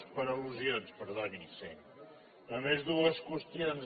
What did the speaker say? per allusions perdoni sí només dues qüestions